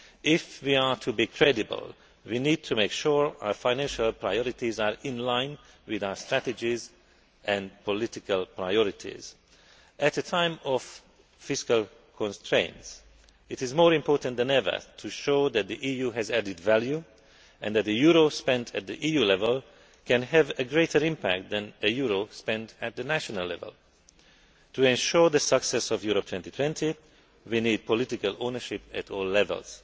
If we are to be credible we need to make sure our financial priorities are in line with our strategies and political priorities. At a time of fiscal constraints, it is more important than ever to show that the EU has added value and that a euro spent at EU level can have a greater impact than a euro spent at national level. To ensure the success of Europe 2020 we need political ownership at all levels.